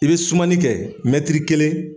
I bɛ sumani kɛ, mɛti kelen.